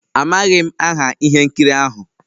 Amaghị m aha ihe nkiri ahụ.